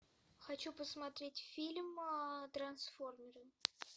хочу посмотреть фильм трансформеры